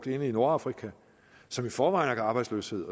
ind i nordafrika som i forvejen har arbejdsløshed